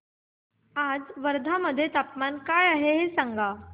आज वर्धा मध्ये तापमान काय आहे सांगा